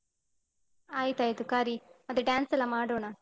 ಆಯ್ತಾಯ್ತು ಕರಿ. ಅದು dance ಎಲ್ಲ ಮಾಡೋಣ.